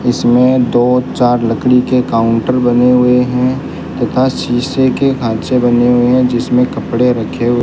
इसमें दो चार लकड़ी के काउंटर बने हुए हैं तथा शीशे के खांचे बने हुए हैं जिसमें कपड़े रखे हुए --